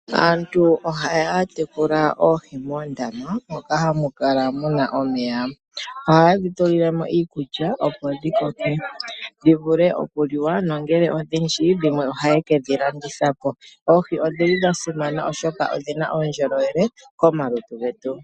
Aantu oha ya tekula oohi moondama moka ha mu kala mu na omeya. Ohaye dhi tulile mo iikulya opo dhi koke dhi vule okuliwa, nongele odhindji dhimwe oha ye ke dhi landitha po. Oohi odhili dha simana oshoka odhina uundjolowele komalutu getu.